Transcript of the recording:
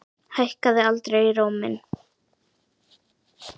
Hækkaði aldrei róminn.